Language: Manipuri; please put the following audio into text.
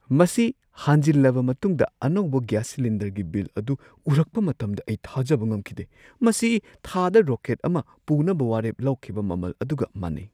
ꯃꯁꯤ ꯍꯥꯟꯖꯤꯟꯂꯕ ꯃꯇꯨꯡꯗ ꯑꯅꯧꯕ ꯒ꯭ꯌꯥꯁ ꯁꯤꯂꯤꯟꯗꯔꯒꯤ ꯕꯤꯜ ꯑꯗꯨ ꯎꯔꯛꯄ ꯃꯇꯝꯗ ꯑꯩ ꯊꯥꯖꯕ ꯉꯝꯈꯤꯗꯦ ꯫ ꯃꯁꯤ ꯊꯥꯗ ꯔꯣꯀꯦꯠ ꯑꯃ ꯄꯨꯅꯕ ꯋꯥꯔꯦꯞ ꯂꯧꯈꯤꯕ ꯃꯃꯜ ꯑꯗꯨꯒ ꯃꯥꯟꯅꯩ!